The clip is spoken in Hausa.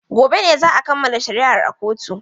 Gobe ne za a kammala shari'ar a kotun.